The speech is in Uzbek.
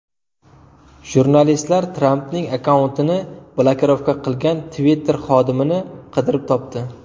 Jurnalistlar Trampning akkauntini blokirovka qilgan Twitter xodimini qidirib topdi.